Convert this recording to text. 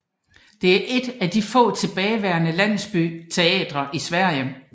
Det er et af de få tilbageværende landsbyteatre i Sverige